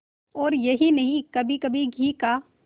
और यही नहीं कभीकभी घी का